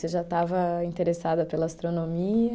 Você já estava interessada pela astronomia?